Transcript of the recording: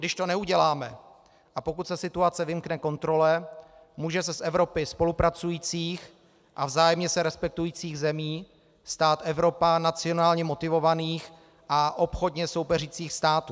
Když to neuděláme a pokud se situace vymkne kontrole, může se z Evropy spolupracujících a vzájemně se respektujících zemí stát Evropa nacionálně motivovaných a obchodně soupeřících států.